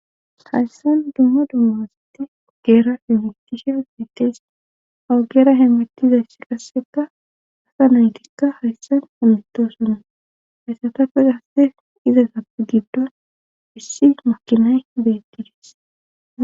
hayssan dumma dumma asate geera hemetishe gmeteys hawugera heemetizayssi qasseka asa naytikka hayssan onlitto suna hayssatappes haste izasappe giddon issi makinay beettidis